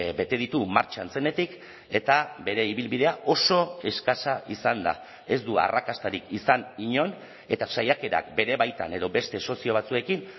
bete ditu martxan zenetik eta bere ibilbidea oso eskasa izan da ez du arrakastarik izan inon eta saiakerak bere baitan edo beste sozio batzuekin